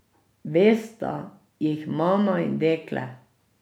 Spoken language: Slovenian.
Vesta jih mama in dekle.